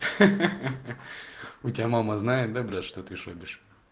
ха-ха-ха у тебя мама знает да блять что ты шобишь